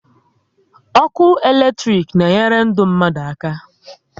Ọkụ electric na enyere ndụ mmadụ aka